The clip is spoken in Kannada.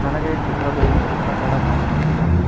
ನನಗೆ ಈ ಚಿತ್ರದಲ್ಲಿ ಒಂದು ಕಟ್ಟಡ ಕಾಣಿಸುತ್ತಿದೆ.